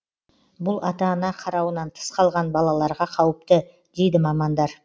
бұл ата ана қарауынан тыс қалған балаларға қауіпті дейді мамандар